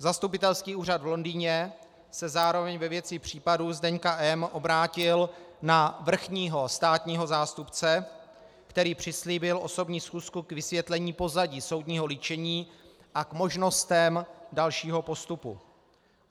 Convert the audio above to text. Zastupitelský úřad v Londýně se zároveň ve věci případu Zdeňka M. obrátil na vrchního státního zástupce, který přislíbil osobní schůzku k vysvětlení pozadí soudního líčení a k možnostem dalšího postupu.